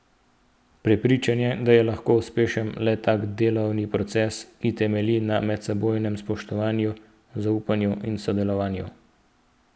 Prepričan je, da je lahko uspešen le tak delovni proces, ki temelji na medsebojnem spoštovanju, zaupanju in sodelovanju.